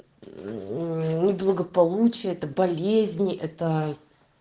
благополучия это болезни это